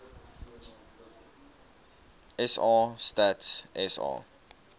sa stats sa